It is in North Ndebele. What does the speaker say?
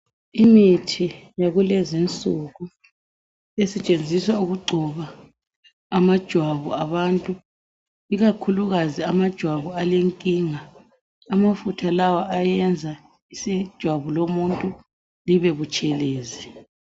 Imithi yakulezinsuku esetshenziswa ukugcoba amajwabu abantu, ikakhulukazi amajwabu alenkinga amafutha lawa ayenza ijwabu lomuntu libe butshelezi.